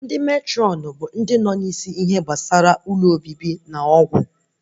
Ndị Matrọn bụ ndị na-eneta hostelu na ihe gbasara ọgwụ